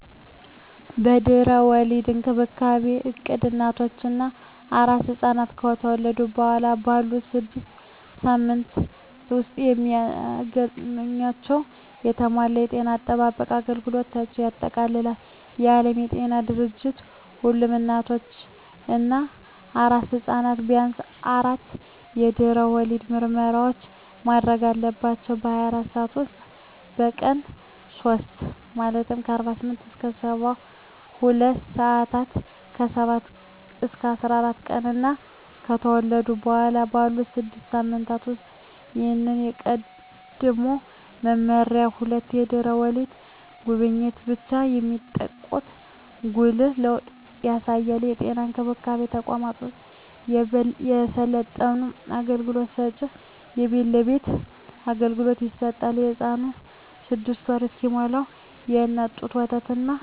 የድህረ ወሊድ እንክብካቤ እቅድ እናቶች እና አራስ ሕፃናት ከተወለዱ በኋላ ባሉት ስድስት ሳምንታት ውስጥ የሚያገኟቸውን የተሟላ የጤና አጠባበቅ አገልግሎቶችን ያጠቃልላል። የዓለም ጤና ድርጅት ሁሉም እናቶች እና አራስ ሕፃናት ቢያንስ አራት የድህረ ወሊድ ምርመራዎችን ማድረግ አለባቸው - በ24 ሰዓት ውስጥ፣ በቀን 3 (48-72 ሰአታት)፣ ከ7-14 ቀናት እና ከተወለዱ በኋላ ባሉት 6 ሳምንታት ውስጥ። ይህ ከቀድሞው መመሪያ ሁለት የድህረ ወሊድ ጉብኝቶችን ብቻ የሚጠቁም ጉልህ ለውጥ ያሳያል። የጤና እንክብካቤ ተቋማት ወይም የሰለጠኑ አገልግሎት ሰጭዎች የቤት ለቤት አገልግሎት ይሰጣሉ። ለህፃኑም 6ወር እስኪሞላው የእናት ጡት ወተትና ካለፈው በኃላ ከእፅዋት አትክልት፣ ፍራፍሬ ሰውነት ገንቢ እና በሽታ ተከላካይ ምግቦችን መመገብ አለብን